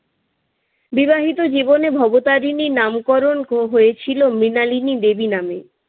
বিবাহিত জীবনে ভবতারিনীর নামকরণ হয়েছিল মৃণালিনী দেবী নামে।